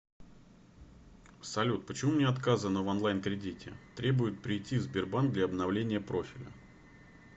салют почему мне отказано в онлайн кредите требуют прийти в сбербанк для обновления профиля